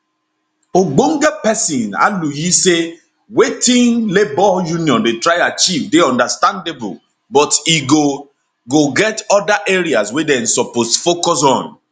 ogbonge pesin aluyi say wetin labour union dey try achieve dey understandable but e go go get oda areas wey dem suppose focus on